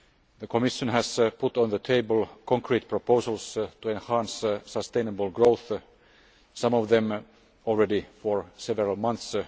The Commission has put on the table concrete proposals to enhance sustainable growth, some of them have been on the table already for several months.